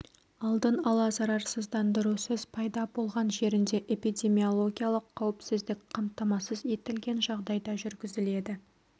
алдын ала зарарсыздандырусыз пайда болған жерінде эпидемиологиялық қауіпсіздік қамтамасыз етілген жағдайда жүргізіледі